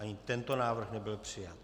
Ani tento návrh nebyl přijat.